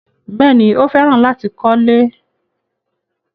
Bẹ́ẹ̀ni, Ó fẹ́ràn láti kọ́lẹ́.